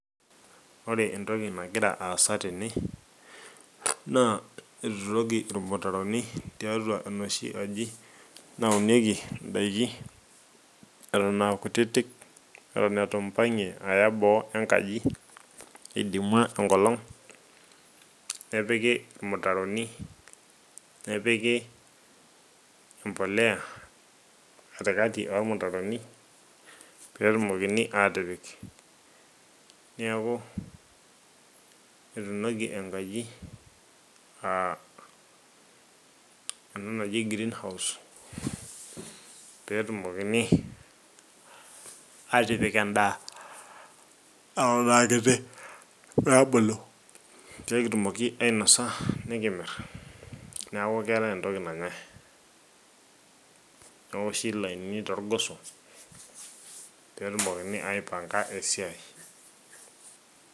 ore entoki nagira aasa tene naa etuturoki irmutaroni tiatua enoshi aji naunieki idaiki eton aa kutitik, eton eiu mpagie aya boo enkaji idimua enkolong. nepiki irmutaroni. nepiki empuliya, katikati oormutaroni. pee etumokini atipik. neeku etuunoki enkaji aa ena naji greenhouse pee etumokini aatipik edaa eton aakiti pee ebulu. pee kitumoki ainosa, nikimir, neeku keetae entoki nanyae. neoshi lainini toorgoso pee etumokini aipanga esiai.